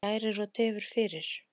Hún kærir og tefur fyrir.